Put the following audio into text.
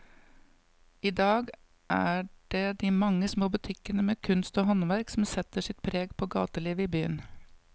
I dag er det de mange små butikkene med kunst og håndverk som setter sitt preg på gatelivet i byen.